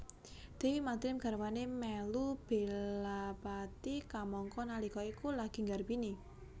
Dewi Madrim garwané mèlu belapati kamangka nalika iku lagi nggarbini